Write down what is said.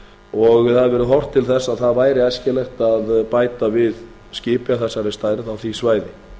og það hefur verið horft til þess að það væri æskilegt að bæta við skipi af þessari stærð á því svæði